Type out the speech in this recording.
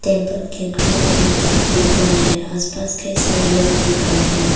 temple के grill भी दिख रहा है आस पास कई सारे लोग दिख रहे--